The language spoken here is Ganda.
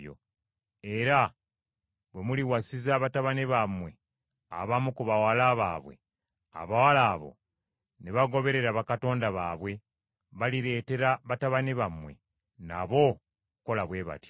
Era bwe muliwasiza batabani bammwe abamu ku bawala baabwe, abawala abo ne bagoberera bakatonda baabwe, balireetera batabani bammwe nabo okukola bwe batyo.